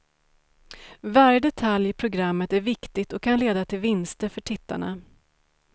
Varje detalj i programmet är viktigt och kan leda till vinster för tittarna.